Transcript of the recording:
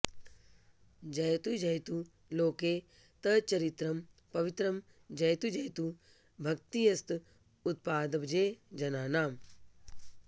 जयतु जयतु लोके तच्चरित्रं पवित्रं जयतु जयतु भक्तिस्तत्पदाब्जे जनानाम्